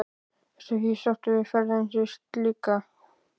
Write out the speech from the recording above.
Ertu því sáttur við ferðina sem slíka?